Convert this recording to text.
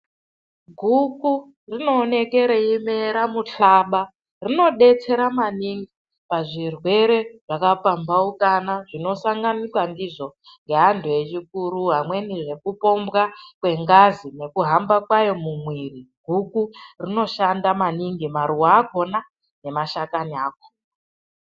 Guku rinooneke reyimera muhlaba, rinodetsera maningi pazvirwere zvakapambaukana, zvinosanganikwa ndizvo ngeantu echikuru, amweni zvekupombwa kwengazi nekuhamba kwayo mumwiri, guku rinoshanda maningi maruwa akona nemashakani akona.